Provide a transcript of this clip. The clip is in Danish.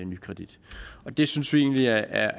nykredit det synes vi egentlig er